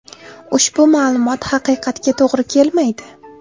Ushbu ma’lumot haqiqatga to‘g‘ri kelmaydi.